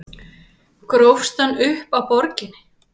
Grófstu hann upp á Borginni?